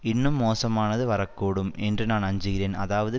இன்னும் மோசமானது வரக்கூடும் என்று நான் அஞ்சுகிறேன் அதாவது